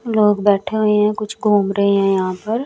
लोग बैठे हुए हैं कुछ घूम रहे हैं यहां पर।